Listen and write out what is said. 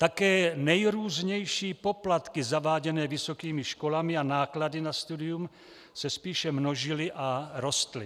Také nejrůznější poplatky zaváděné vysokými školami a náklady na studium se spíše množily a rostly.